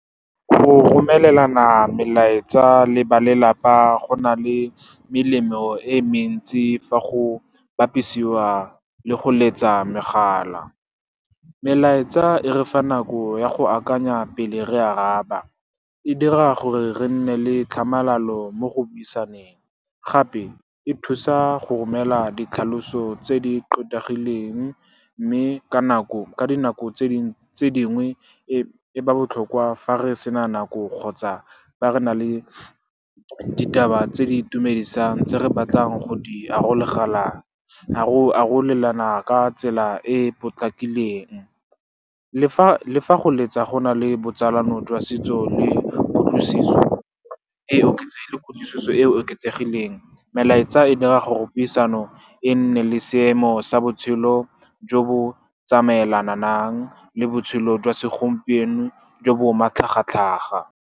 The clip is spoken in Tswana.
Go romelelana melaetsa le ba lelapa go na le melemo e mentsi fa go bapisiwa le go letsa megala. Melaetsa e re fa nako ya go akanya pele re araba, e dira gore re nne le tlhamalalo mo go buisaneng. Gape e thusa go romela ditlhaloso tse di tlotlegileng, mme ka dinako tse dingwe e ba botlhokwa fa re sena nako kgotsa ba re na le ditaba tse di itumedisang tse re batlang go di go arolelana ka tsela e e potlakileng. Le fa go letsa go na le botsalano jwa setso le kutlwisiso e e oketsegileng, melaetsa e dira gore puisano e nne le seemo sa botshelo jo bo tsamaelanang le botshelo jwa segompieno jo bo matlhagatlhaga.